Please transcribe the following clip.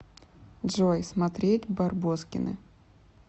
джой смотреть барбоскины